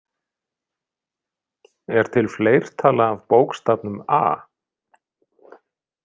Er til fleirtala af bókstafnum A?